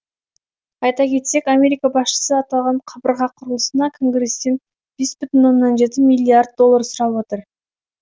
айта кетсек америка басшысы аталған қабырға құрылысына конгресстен бес бүтін оннан жеті миллиард доллар сұрап отыр